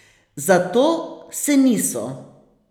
Za to se niso.